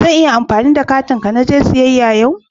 Zan iya amfani da katin ka naje siyayya yau?